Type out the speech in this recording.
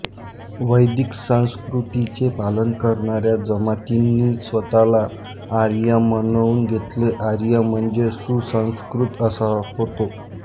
वैदिक संस्कृतीचे पालन करणाऱ्या जमातींनी स्वतःला आर्य म्हणवून घेतले आर्य म्हणजे सुसंस्कृत असा होतो